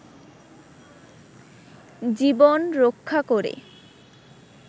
জীবন রক্ষা করে